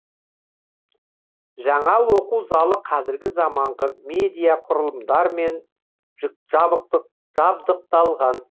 жаңа оқу залы қазіргі заманғы медиа құрылымдармен жүк жабықтық жабдықталған